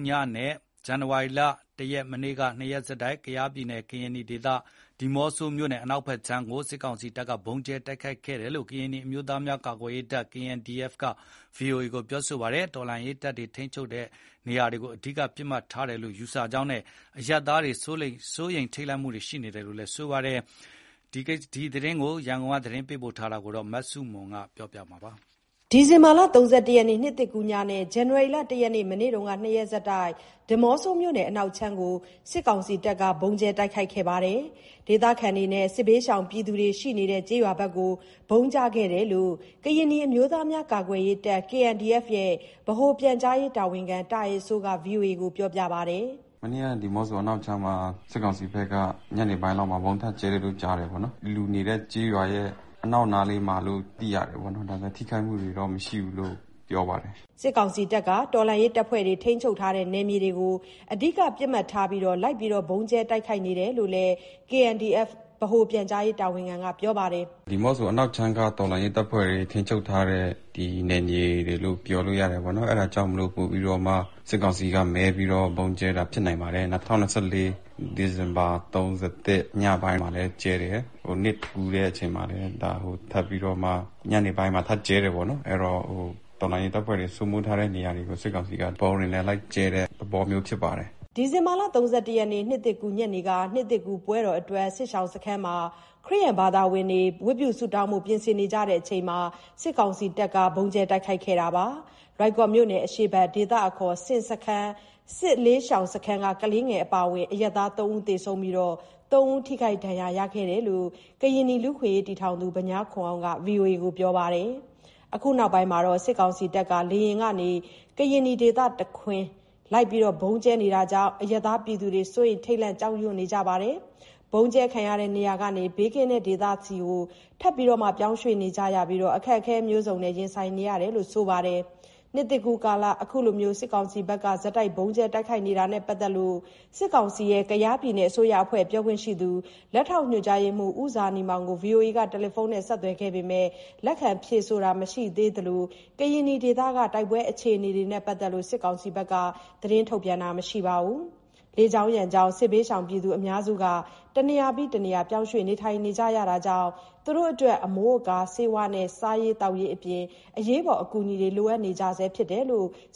ည နဲ့ ဇန်နဝါရီ (၁) ရက် မနေ့က နှစ်ရက် ဆက်တိုက် ကယားပြည်နယ် (ကရင်နီ) ဒေသ ဒီးမော့ဆိုမြို့နယ်အနောက်ခြမ်းကို စစ်ကောင်စီတပ်က ဗုံးကြဲ တိုက်ခိုက်ခဲ့တယ်လို့ ကရင်နီအမျိုးသားများကာကွယ်ရေးတပ်(KNDF) က ဗွီအိုအေကို ပြောပါတယ်။ ကရင်နီတော်လှန်ရေး တပ်ဖွဲ့တွေ ထိန်းချုပ်ထားတဲ့ နယ်မြေတွေကိုပစ်မှတ်ထားပြီး စစ်ကောင်စီတပ်က လေယာဉ်နဲ့ ဗုံး လိုက်ကြဲနေတာကြောင့် အရပ်သားပြည်သူတွေ စိုးရိမ်ထိတ်လန့်နေကြတယ်လို့ ဆိုပါတယ်။ ကရင်နီဒေသကို စစ်ကောင်စီတပ်က လေကြောင်းတိုက်ခိုက်နေမှုအခြေအနေ ရန်ကုန်က သတင်းပေးပို့ထားပါတယ်။ ဒီဇင်ဘာလ ၃၁ ရက် နှစ်သစ်ကူးည နဲ့ ဇန်နဝါရီ (၁) ရက် မနေ့က နှစ်ရက်ဆက်တိုက် ဒီးမော့ဆိုမြို့နယ် အနောက်ခြမ်းကို စစ်ကောင်စီတပ်ကဗုံးကြဲတိုက်ခိုက်တဲ့အခါ ဒေသခံနဲ့ စစ်ဘေးရှောင်ပြည်သူတွေ ရှိနေတဲ့ ကျေးရွာဘက်ကို ဗုံးကျခဲ့တယ်လို့ ကရင်နီအမျိုးသားများကာကွယ်ရေးတပ် (KNDF) ဗဟို ပြန်ကြားရေးတာဝန်ရှိသူ တာအယ်စိုးက ဗွီအိုအေကို ပြောပါတယ်။ “မနေ့က ဒီးမော့ဆိုအနောက်ခြမ်းမှာ စစ်ကောင်စီဘက်က ညနေပိုင်းလောက်မှာ ဗုံးထပ်ကြဲတယ်လို့ ကြားတယ်ပေါ့နော်။ လူနေတဲ့ ကျေးရွာရဲ့ အနောက်နားလေးမှာလို့ သိရတယ်ပေါ့နော်၊ ဒါပေမယ့် ထိခိုက်မှုတွေတော့ မရှိဘူးလို့ ပြောပါတယ်။” တော်လှန်ရေးတပ်ဖွဲ့ဘက်က ထိန်းချုပ်ထားတဲ့ နယ်မြေတွေကို အဓိကပစ်မှတ်ထားပြီး စစ်ကောင်စီ တပ်က လိုက်လံဗုံးကြဲတိုက်ခိုက်နေတာလို့ KNDF ဗဟိုပြန်ကြားရေးတာဝန်ရှိသူ တာအယ်စိုးက ခုလို ပြောပါတယ်။ “ဒီးမောဆို အနောက်ခြမ်းက တော်လှန်ရေးတပ်ဖွဲ့တွေ ထိန်းချုပ်ထားတဲ့နယ်မြေတွေလို့ ပြောလို့ရတယ် ပေါ့နော်၊ အဲ့ဒါကြောင့်မို့လို့ ပိုပြီးတော့မှ စစ်ကောင်စီက မဲပြီးတော့ ဗုံးကြဲတာဖြစ်နိုင်ပါတယ်။ ၂၀၂၄ ဒီဇင်ဘာ ၃၁ ညပိုင်းမှာလည်းကြဲတယ်။ နှစ်ကူးတဲ့ အချိန်မှာလည်း ထပ်ပြီးတော့မှ ညနေပိုင်းမှာ ထပ်ကြဲတယ်ပေါ့နော်၊ အဲ့တော့ တော်လှန်ရေးတပ်ဖွဲ့တွေ စိုးမိုးထားတဲ့ နေရာတွေကို စစ်ကောင်စီက ဗုံးတွေနဲ့ လိုက်ကြဲတဲ့ သဘောမျိုးဖြစ်ပါတယ်။” ဒီဇင်ဘာ ၃၁ ရက် နှစ်သစ်ကူး ညနေကလည်း နှစ်သစ်ကူးပွဲတော်အတွက် စစ်ရှောင်စခန်းမှာ ခရစ်ယာန်ဘာဝင်တွေ ဝတ်ပြုဆုတောင်းဖို့ ပြင်ဆင်နေကြချိန် စစ်ကောင်စီတပ်က လိုက်လံဗုံးကြဲ တိုက်ခိုက်ခဲ့လို့ လွိုင်ကော်မြိုကနယ် အရှေ့ဘက် ဒေသအခေါ် ဆင်စခန်း စစ်လေးရှောင်စခန်းက ကလေးငယ်အပါအဝင် အရပ်သား ၃ ဦး သေဆုံးပြီး ၃ ဦးထိခိုက်ဒဏ်ရာရရှိခဲ့တယ်လို့ ကရင်နီ လူ့အခွင့်အရေးတည်ထောင်သူ ဗညားခွန်အောင်က ဗွီအိုအေကို ပြောပါတယ်။ အခုရက်ပိုင်း စစ်ကောင်စီတပ်က ကရင်နီဒေသတခွင် လေယာဉ်နဲ့လိုက်ပြီး ခပ်စိတ်စိတ် ဗုံးကြဲနေမှုကြောင့် အရပ်သားပြည်သူတွေ စိုးရိမ်ထိတ်လန့်နေကြပါတယ်။ ဗုံးကြဲခံရတဲ့ နေရာကနေ ဘေးကင်းတဲ့ ဒေသတွေဆီ ထပ်မံပြောင်းရွှေ့နေကြပြီး အခက်အခဲမျိုးစုံရင်ဆိုင်နေရတာလို့ ဆိုပါတယ်။ နှစ်သစ်ကူးကာလ ဆက်တိုက်ဗုံးကြဲနေတာနဲ့ ပတ်သက်လို့ စစ်ကောင်စီရဲ့ ကယားပြည်နယ်အစိုးရအဖွဲ့ ပြောခွင့်ရှိသူ လက်ထောက်ညွှန်ကြားရေးမှူး ဦးဇာနည်မောင်ကို ဗွီအိုအေက တယ်လီဖုန်းနဲ့ ဆက်သွယ်ခဲ့ ပေမယ့် လက်ခံဖြေဆိုတာ မရှိသလို စစ်ကောင်စီဘက်ကလည်း သတင်းထုတ်ပြန်တာမရှိသေးပါဘူး။ လေကြောင်းရန်ကြောင့် စစ်ဘေးရှောင်အများစုက တနေရာပြီးတနေရာ ပြောင်းရွှေ့နေကြရတာ ကြောင့် အမိုးအကာ၊ ဆေးဝါးနဲ့ စားရေးသောက်ရေး အရေးပေါ်အကူအညီ လိုအပ်နေကြဆဲဖြစ်ပါတယ်။